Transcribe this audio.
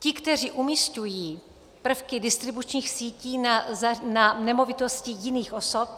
Ti, kteří umísťují prvky distribučních sítí na nemovitosti jiných osob,